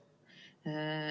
Aeg!